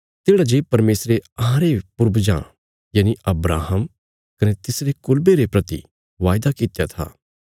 तेढ़ा जे परमेशरे अहांरे पूर्वजां यनि अब्राहम कने तिसरे कुलबे रे परति सै जे वायदा कित्या था तिस्सो पूरा कित्या